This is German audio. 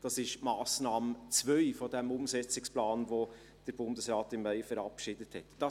Dies ist die Massnahme 2 des Umsetzungsplans, den der Bundesrat im Mai verabschiedet hat.